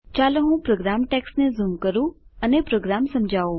ચાલો હું program text zoom કરું અને પ્રોગ્રામ સમજાવું